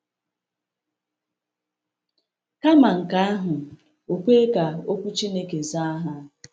Kama nke ahụ, o kwe ka Okwu Chineke zaa ha.